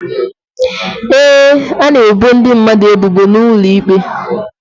Ee, a na-ebo ndị mmadụ ebubo n'ụlọ ikpe.